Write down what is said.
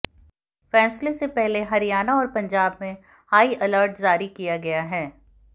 फ़ैसले से पहले हरियाणा और पंजाब में हाई अलर्ट जारी किया गया है